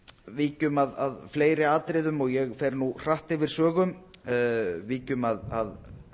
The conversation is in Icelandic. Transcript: víkjum að fleiri atriðum og ég fer nú hratt yfir sögu víkjum að